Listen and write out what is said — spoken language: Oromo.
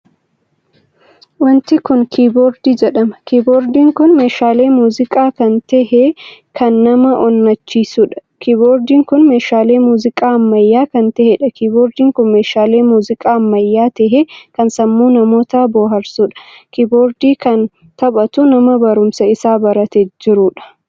Wanti kun kiboordii jedhama. kiboordiin kun meeshaalee muuziqaa kan tahee kan nama onnachisuudha. kiboordiin kun meeshaalee muuziqaa ammayyaa kan taheedha. kiboordiin kun meeshaalee muuziqaa ammayyaa tahee kan sammuu manoota booharsuudha. kiboordii kan taphaatu nama barumsaa isaa baratee jiruudha.